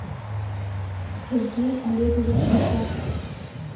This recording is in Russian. сергей олегович исаков